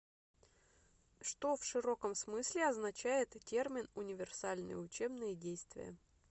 что в широком смысле означает термин универсальные учебные действия